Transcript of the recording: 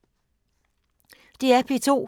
DR P2